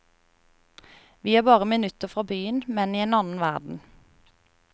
Vi er bare minutter fra byen, men i en annen verden.